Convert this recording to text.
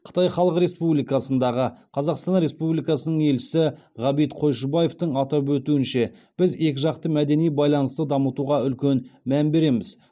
қытай халық республикасындағы қазақстан республикасының елшісі ғабит қойшыбаевтың атап өтуінше біз екіжақты мәдени байланысты дамытуға үлкен мән береміз